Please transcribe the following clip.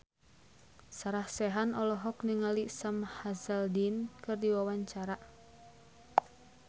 Sarah Sechan olohok ningali Sam Hazeldine keur diwawancara